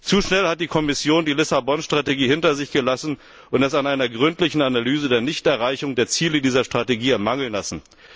Zu schnell hat die Kommission die Strategie von Lissabon hinter sich gelassen und es an einer gründlichen Analyse der Nichterreichung der Ziele dieser Strategie mangeln lassen.